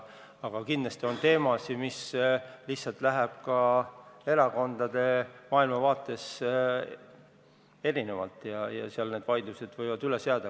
Samas kindlasti on teemasid, mille puhul lihtsalt tulenevalt erinevast maailmavaatest võivad vaidlused üles jääda.